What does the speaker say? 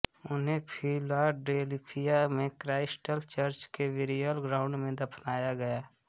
उन्हें फिलाडेल्फिया में Christ Church burial ground में दफनाया गया